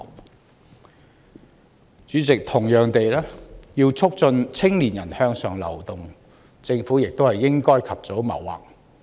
代理主席，同樣地，要促進青年人向上流動，政府也應及早謀劃。